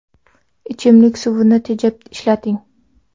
Ichimlik suvini tejab ishlating.